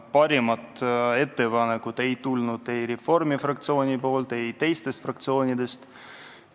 Paremat ettepanekut ei tulnud ei Reformierakonna fraktsioonilt ega teistelt fraktsioonidelt.